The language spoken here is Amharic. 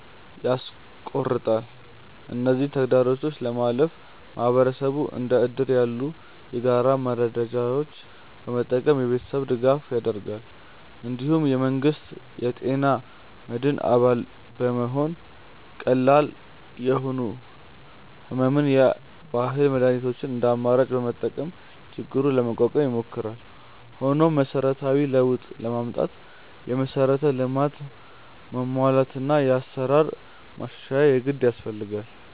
ያስቆርጣል። እነዚህን ተግዳሮቶች ለማለፍ ማህበረሰቡ እንደ እድር ያሉ የጋራ መረዳጃዎችን በመጠቀም የገንዘብ ድጋፍ ያደርጋል። እንዲሁም የመንግስት የጤና መድን አባል በመሆንና ቀላል ለሆኑ ሕመሞች የባህል መድኃኒቶችን እንደ አማራጭ በመጠቀም ችግሩን ለመቋቋም ይሞክራል። ሆኖም መሰረታዊ ለውጥ ለማምጣት የመሠረተ ልማት መሟላትና የአሰራር ማሻሻያ የግድ ያስፈልጋል።